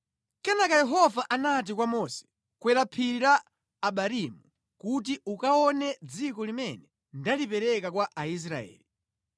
Kenaka Yehova anati kwa Mose, “Kwera phiri la Abarimu kuti ukaone dziko limene ndalipereka kwa Aisraeli.